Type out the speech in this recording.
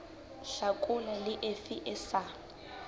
hlakola le efe e sa